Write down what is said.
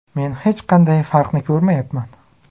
Men hech qanday farqni ko‘rmayapman.